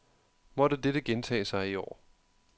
Måtte dette gentage sig i år.